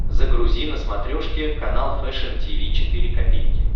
загрузи на смотрешке канал фэшн ти ви четыре ка